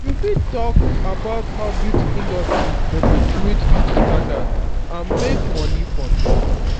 you fit talk about how beauty industry perpetuate beauty standards and makes money from dem